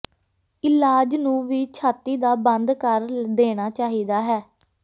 ਇਲਾਜ ਨੂੰ ਵੀ ਛਾਤੀ ਦਾ ਬੰਦ ਕਰ ਦੇਣਾ ਚਾਹੀਦਾ ਹੈ